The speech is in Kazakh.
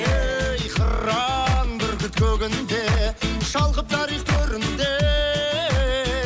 ей қыран бүркіт көгінде шалқып тарих төрінде